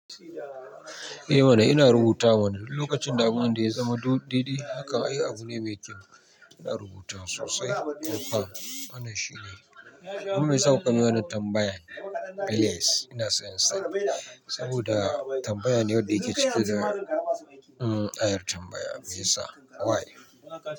Eh mana ina rubuta mana duk lokacin damuwa da ya zama dede hakan ai abu ne mai kyau. Ina rubutawa sosai. A fa wanan shine. Amma mai yasa kukayi min wanan tambayan? Yes ina son in sani saboda tambaya ne wadda yake cike da ayar tambaya mai sa why.